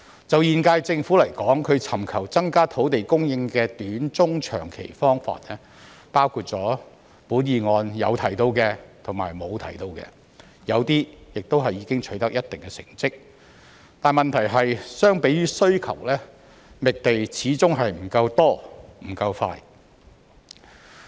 就現屆政府來說，它尋求增加土地供應的短、中、長期方法，包括議案有提到和沒有提到的，有些亦已經取得一定成績，問題是相比於需求，覓地始終不夠多、不夠快。